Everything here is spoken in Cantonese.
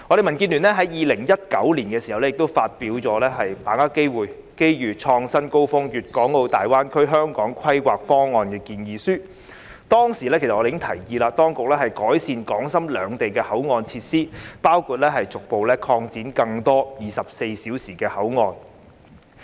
民建聯在2019年亦發表《把握機遇創新高峰粵港澳大灣區香港規劃方案建議書》，我們當時已提議當局改善港深兩地的口岸設施，包括逐步擴展更多24小時的口岸。